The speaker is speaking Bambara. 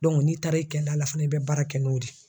n'i taara e kɛla la fana i bɛ baara kɛ n'o de ye.